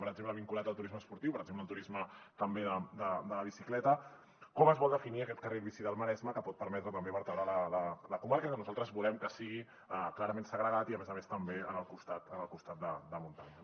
per exemple vinculat al turisme esportiu per exemple el turisme de la bicicleta com es vol definir aquest carril bici del maresme que pot permetre també vertebrar la comarca que nosaltres volem que sigui clarament segregat i a més a més també al costat de muntanya